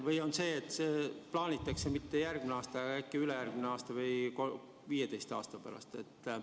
Või on sedasi, et neid ei plaanita kehtestada mitte järgmisel aastal, vaid ülejärgmisel aastal või lausa 15 aasta pärast?